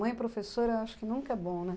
Mãe professora eu acho que nunca é bom, né?